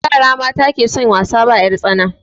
Yara mata ke son wasa ba 'yar tsana